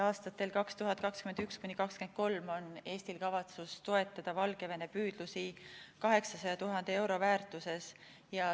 Aastatel 2021–2023 on Eestil kavatsus toetada Valgevene püüdlusi 800 000 euro väärtuses.